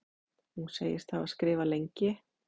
Hún segist hafa skrifað lengi.